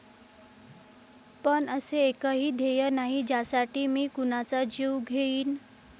पण असे एकही ध्येय नाही ज्यासाठी मी कुणाचा जीव घेईन.